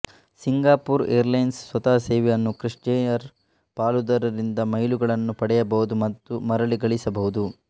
Singapore ಏರ್ಲೈನ್ಸ್್ನ ಸ್ವಂತ ಸೇವೆ ಮತ್ತು ಕ್ರಿಸ್್ಪ್ಲೈಯರ್ ಪಾಲುದಾರರಿಂದ ಮೈಲುಗಳನ್ನು ಪಡೆಯಬಹುದು ಮತ್ತು ಮರಳಿ ಗಳಿಸಬಹುದು